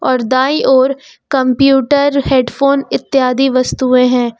और दाईं ओर कंप्यूटर हेडफोन इत्यादि वस्तुएं हैं।